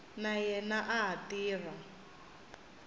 na yena a ha tirha